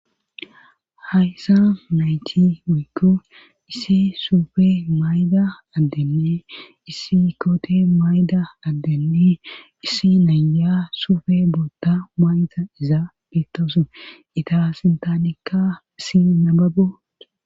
Hayssa mayti muykko issi suufe mayda addenni issi koote mayda addenni issi naya suufe bootta mayta izaa biittosan ita sintanikka issi nababot